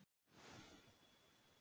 Unnsteinn